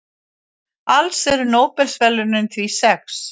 Alls eru Nóbelsverðlaunin því sex.